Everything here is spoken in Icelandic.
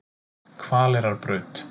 Hvaleyrarbraut